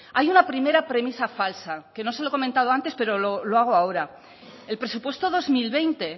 hay una primera premisa falsa que no se lo he comentado antes pero lo hago ahora el presupuesto dos mil veinte